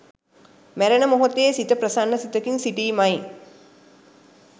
මැරෙන මොහොතේ සිත ප්‍රසන්න සිතකින් සිටීමයි.